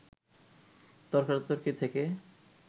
তর্কাতর্কি থেকে